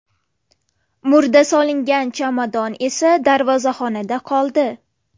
Murda solingan chamadon esa darvozaxonada qoldi.